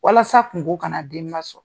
Walasa kungo ka na denba sɔrɔ.